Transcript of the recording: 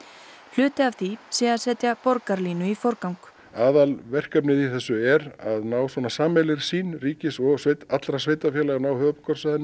hluti af því sé að setja Borgarlínu í forgang aðalverkefnið í þessu er að ná sameiginlegri sýn ríkis og allra sveitarfélaga á höfuðborgarsvæðinu